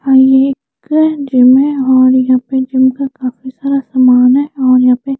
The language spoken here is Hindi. और ये में जिम में है और यहा पे जिम का काफी सारा सामान हैं ।